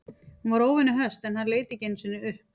Hún var óvenju höst en hann leit ekki einu sinni upp.